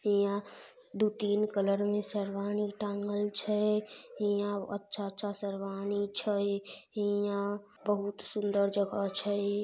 हीया दू तीन कलर में शेरवानी टांगल छै हीया अच्छा-अच्छा शेरवानी छै हीया बहुत सुंदर जगह छै।